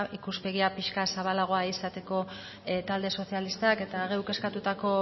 ikuspegia pixka bat zabalagoa izateko talde sozialistak eta geuk eskatutako